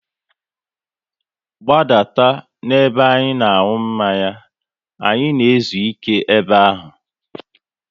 Gbadata n'ebe a na aṅụ mmanya! Anyị na ezuike ebe ahụ